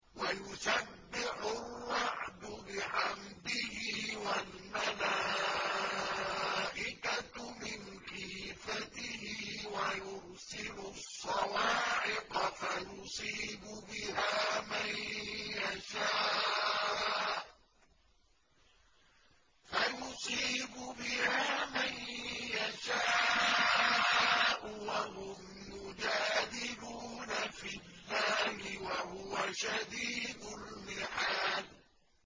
وَيُسَبِّحُ الرَّعْدُ بِحَمْدِهِ وَالْمَلَائِكَةُ مِنْ خِيفَتِهِ وَيُرْسِلُ الصَّوَاعِقَ فَيُصِيبُ بِهَا مَن يَشَاءُ وَهُمْ يُجَادِلُونَ فِي اللَّهِ وَهُوَ شَدِيدُ الْمِحَالِ